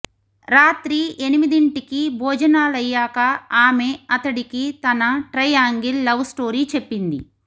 రాత్రి ఎనిమిదింటికి భోజనలయ్యాక ఆమె అతడికి తన ట్రై యాంగిల్ లవ్ స్టోరీ చెప్పింది